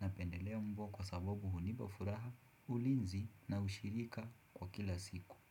napendelea mbwa kwa sababu hunipa furaha, ulinzi na ushirika kwa kila siku. Kwa hivyo.